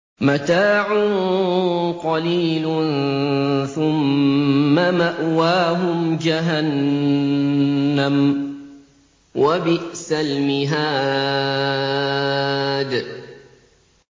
مَتَاعٌ قَلِيلٌ ثُمَّ مَأْوَاهُمْ جَهَنَّمُ ۚ وَبِئْسَ الْمِهَادُ